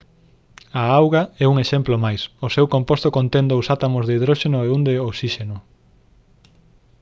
a auga é un exemplo máis o seu composto contén dous átomos de hidróxeno e un de osíxeno